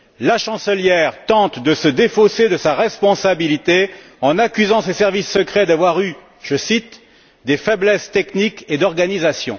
La chancelière tente de se défausser de sa responsabilité en accusant ses services secrets d'avoir eu je cite des faiblesses techniques et d'organisation.